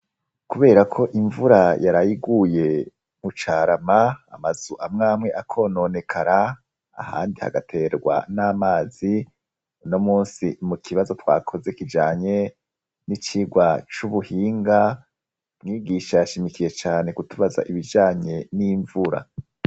Kubera ko imvura yarayiguye mucarama amazu amwamwe akononekara ,ahandi hagaterwa n'amazi ,uno munsi mu kibazo twakoze kijanye n'icigwa c'ubuhinga ,mwigisha yashimikiye cane kutubaza ibijanye n'imvura.